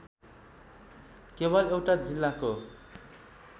केवल एउटा जिल्लाको